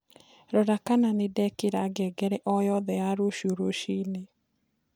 rora kana nindekira ngengere o yothe ya rũcĩũ rũcĩĩnĩ